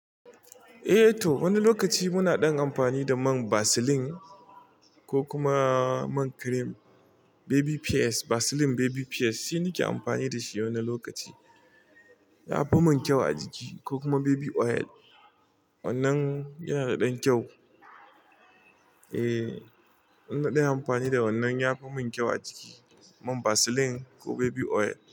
Eh to, wani lokaci muna dan amfani da man Vaseline ko kuma man cream, baby pears. Vaseline baby pears shine nake amfani da shi wani lokaci. Ya fi min kyau a jiki ko kuma baby oil. Wannan yana da dan kyau. Eh, ina ɗan amfani da wannan ya fi min kyau a jiki. Mai Vaseline ko baby oil.